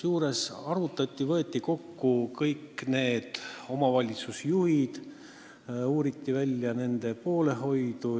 Seda arutati, võeti kokku kõik omavalitsusjuhid ja uuriti välja, kellele kuulub nende poolehoid.